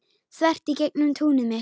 Þvert í gegnum túnið mitt.